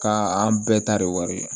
Ka an bɛɛ ta de wari la